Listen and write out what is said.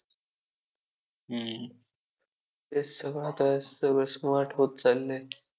झाडेझुडपे शाहारतील आणि विशाल अ नभाला ही ज्याच्या पुढे झुकावे लागेल. असा रयतेचा राजा मावळ्यांचा राजा